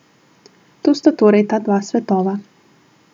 To sta torej ta dva svetova.